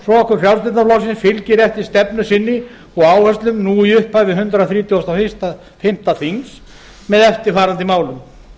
frjálslynda flokksins fylgir eftir stefnu sinni og áherslum nú í upphafi hundrað þrítugasta og fimmta þings með eftirfarandi málum